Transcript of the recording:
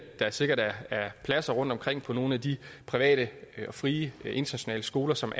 der sikkert er pladser rundtomkring på nogle af de private og frie internationale skoler som